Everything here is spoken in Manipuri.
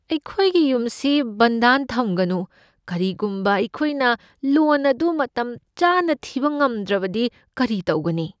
ꯑꯩꯈꯣꯏꯒꯤ ꯌꯨꯝ ꯁꯤ ꯕꯟꯗꯥꯟ ꯊꯝꯒꯅꯨ꯫ ꯀꯔꯤꯒꯨꯝꯕ ꯑꯩꯈꯣꯏꯅ ꯂꯣꯟ ꯑꯗꯨ ꯃꯇꯝꯆꯥꯅ ꯊꯤꯕ ꯉꯝꯗ꯭ꯔꯕꯗꯤ ꯀꯔꯤ ꯇꯧꯒꯅꯤ?